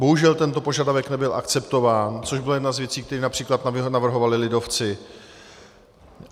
Bohužel tento požadavek nebyl akceptován, což byla jedna z věcí, které například navrhovali lidovci.